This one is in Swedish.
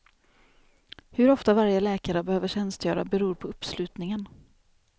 Hur ofta varje läkare behöver tjänstgöra, beror på uppslutningen.